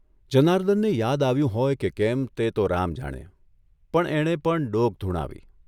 જનાર્દનને યાદ આવ્યું હોય કે કેમ તે તો રામ જાણે, પણ એણે પણ ડોક ધૂણાવી.